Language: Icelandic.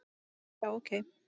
Já, ok.